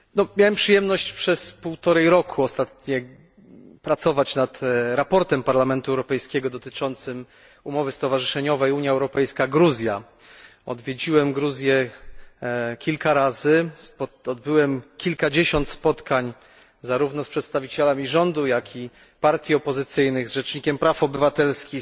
Miałem przyjemność przez ostatnie półtora roku pracować nad sprawozdaniem Parlamentu Europejskiego dotyczącym umowy stowarzyszeniowej Unia Europejska Gruzja. Odwiedziłem Gruzję kilka razy, odbyłem kilkadziesiąt spotkań zarówno z przedstawicielami rządu, jak i partii opozycyjnych, z rzecznikiem praw obywatelskich,